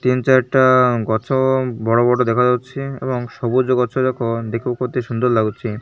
ତିନ ଚାରିଟା ଗଛ ବଡ଼ ବଡ଼ ଦେଖାଯାଉଛି ଏବଂ ସବୁଜ ଗଛ ଯାକ ଦେଖିବାକୁ ଅତି ସୁନ୍ଦର ଲାଗୁଛି।